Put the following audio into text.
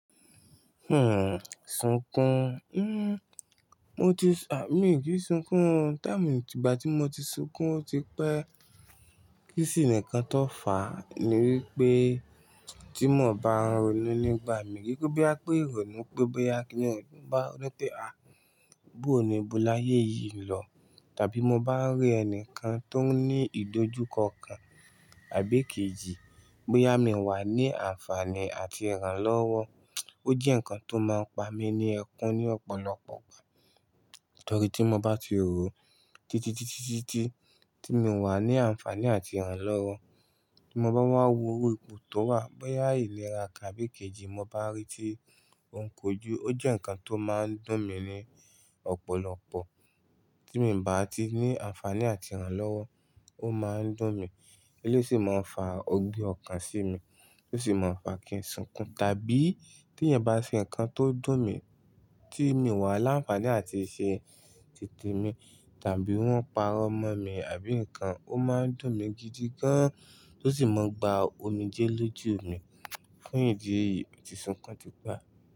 Hmm, sunkún. Hmm, mo ti, à, mi kì í sunkún o. Time tígbà tí mo ti sunkún, ó ti pẹ́. Kí sì ni nǹkan tọ fà á ni wípé tí mò bá ń ronú nígbà mi, kin se boya bí a pé ìrònú pé bóyá kíni ah bá rọ́pẹ́, à, bó ó ni bó láyé yìí ń lọ, tàbí mo bá ń rí ẹnìkan tó ń ní ìdojúkọ kan àbí kejì, bóyá mi wà ní àǹfààní àti ìrànlọ́wọ́. O jẹ́ nǹkan tó máa ń pa mí ní ẹkún ní ọ̀pọ̀lọpọ̀ ìgbà. Nítorí tí mo bá ti rò ó, títitítítítí tí mi wà ní àǹfààní àti ìrànlọ́wọ́, tí mo bá wá wo orí ipò tó wà, bóyá ìlera kan àbí kejì mo bá rí tí ó ń kojú, ó jẹ́ nǹkan tó máa ń dùn mí ní ọ̀pọ̀lọpọ̀. Tí mi ò bá ti ní àǹfààní àti ìrànlọ́wọ́, ó máa ń dùn mí. Elé sì máa ń fa ogbé ọkàn sí mi, tó sì máa ń fa kí n sunkún. Tàbí tí ẹ̀yin bá ṣe nǹkan tó dùn mí, tí mi wà láǹfààní àti ṣe titè mi, tàbí wọ́n parọ́ mọ́ mi, àbí nǹkan, ó máa ń dùn mí gidi gan, tó sì máa ń gba omijé lójú mi. Fún ìdí èyí, moti sunkún ti pe.